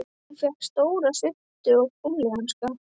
Hún fékk stóra svuntu og gúmmíhanska.